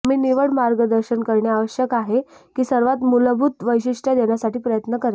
आम्ही निवड मार्गदर्शन करणे आवश्यक आहे की सर्वात मूलभूत वैशिष्ट्ये देण्यासाठी प्रयत्न करेल